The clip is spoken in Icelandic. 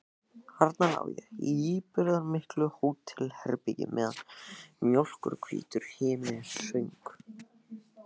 Þarna lá ég í íburðarmiklu hótelherbergi meðan mjólkurhvítur himinninn söng.